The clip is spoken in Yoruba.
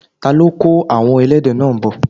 ta ló kó àwon ẹlẹ́dẹ̀ náà bọ̀?